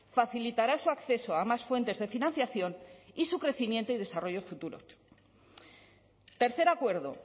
facilitará su acceso a más fuentes de financiación y su crecimiento y desarrollo futuro tercer acuerdo